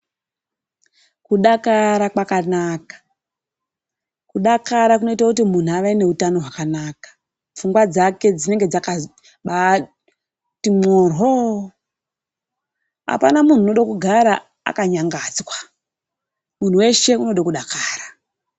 Kudakara kwakanaka .Kudarakara kunoita kuti muntu ave nehutano hwakanaka, pfungwa dzake dzinenge dzakati mhoryoo. Apana muntu anoda kugara akanyangadzwa .Muntu weshe unoda kudakara.